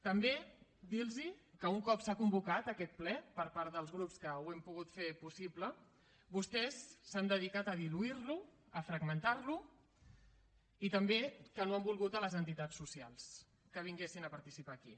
també dir los que un cop s’ha convocat aquest ple per part dels grups que ho hem pogut fer possible vostès s’han dedicat a diluir lo a fragmentar lo i també que no han volgut les entitats socials que vinguessin a participar aquí